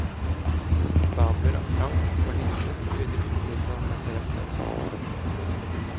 Stabler av plank og lister pryder utsiden av snekkerverkstedet.